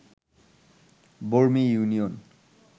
Barmi union